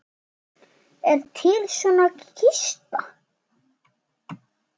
Er til svört kista?